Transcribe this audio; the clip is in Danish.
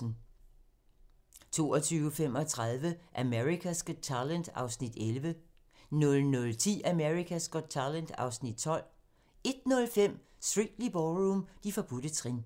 22:35: America's Got Talent (Afs. 11) 00:10: America's Got Talent (Afs. 12) 01:05: Strictly Ballroom - De forbudte trin